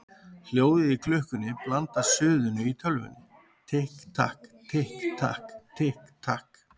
Hljóðið í klukkunni blandast suðinu í tölvunni: Tikk takk, tikk takk, tikk takk.